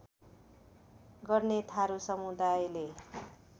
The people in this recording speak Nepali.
गर्ने थारू समुदायले